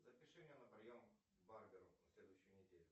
запиши меня на прием к барберу на следующую неделю